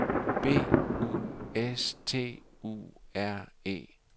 B U S T U R E